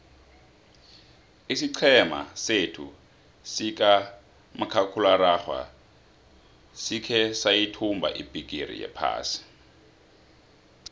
isiqhema sethu sikamakhakhulararhwe sikhe sayithumba ibhigiri yephasi